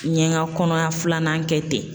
N ye n ka kɔnɔya filanan kɛ ten